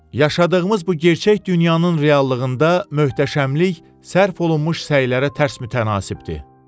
Yaşadığımız bu gerçək dünyanın reallığında möhtəşəmlik sərf olunmuş səylərə tərs mütənasibdir.